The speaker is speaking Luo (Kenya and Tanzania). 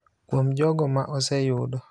kuom jogo ma oseyudo